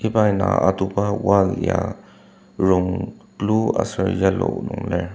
iba indang atuba wall ya rong blue aser yellow nung lir.